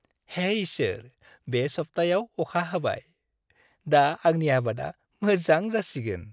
हे इसोर, बे सप्तायाव अखा हाबाय। दा आंनि आबादा मोजां जासिगोन।